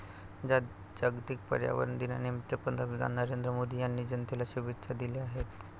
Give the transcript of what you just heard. जागतिक पर्यावरण दिनानिमित्त पंतप्रधान नरेंद्र मोदी यांनी जनतेला शुभेच्छा दिल्या आहेत.